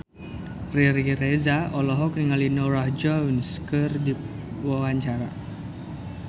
Riri Reza olohok ningali Norah Jones keur diwawancara